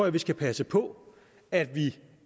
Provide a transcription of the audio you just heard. at vi skal passe på at